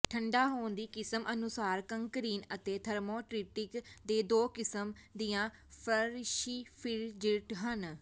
ਠੰਢਾ ਹੋਣ ਦੀ ਕਿਸਮ ਅਨੁਸਾਰ ਕੰਕਰੀਨ ਅਤੇ ਥਰਮੋਇਟ੍ਰਿਕ੍ਰਿਕ ਦੇ ਦੋ ਕਿਸਮ ਦੀਆਂ ਫਰਸ਼ੀਫਿ੍ਰਜਿਰਟ ਹਨ